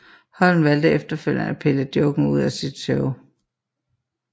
Holm valgte efterfølgende at pille joken ud af sit show